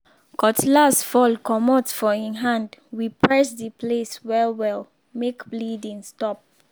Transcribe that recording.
cutlass fall comot for hin hand we press the place well well make bleeding stop.